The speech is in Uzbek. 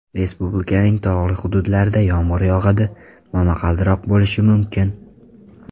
Respublikaning tog‘li hududlarida yomg‘ir yog‘adi, momaqaldiroq bo‘lishi mumkin.